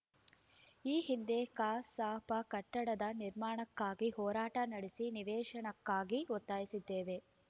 ಈ ಹಿಂದೆ ಕಸಾಪ ಕಟ್ಟಡದ ನಿರ್ಮಾಣಕ್ಕಾಗಿ ಹೋರಾಟ ನಡೆಸಿ ನಿವೇಶನಕ್ಕಾಗಿ ಒತ್ತಾಯಿಸಿದ್ದೆವು